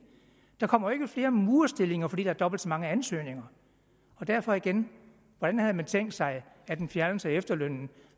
der kommer jo ikke flere murerstillinger fordi der er dobbelt så mange ansøgninger derfor igen hvordan havde man tænkt sig at en fjernelse af efterlønnen